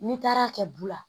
N'i taara kɛ bu la